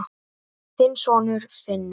Þinn sonur, Finnur.